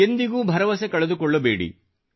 ಎಂದಿಗೂ ಭರವಸೆ ಕಳೆದುಕೊಳ್ಳಬೇಡಿ